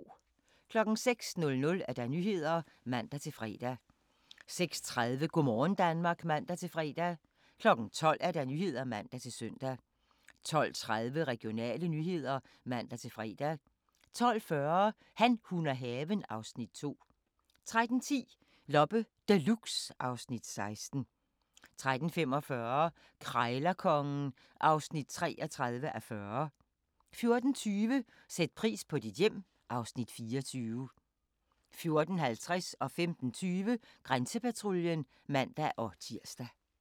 06:00: Nyhederne (man-fre) 06:30: Go' morgen Danmark (man-fre) 12:00: Nyhederne (man-søn) 12:30: Regionale nyheder (man-fre) 12:40: Han, hun og haven (Afs. 2) 13:10: Loppe Deluxe (Afs. 16) 13:45: Krejlerkongen (33:40) 14:20: Sæt pris på dit hjem (Afs. 24) 14:50: Grænsepatruljen (man-tir) 15:20: Grænsepatruljen (man-tir)